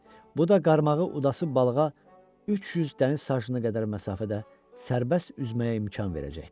Bu da qarmağı udası balığa 300 dəniz sajına qədər məsafədə sərbəst üzməyə imkan verəcəkdi.